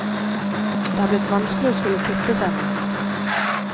Det er blitt vanskelig å skulle kvitte seg med den.